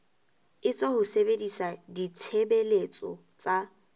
etswa ho sebedisa ditshebeletso tsa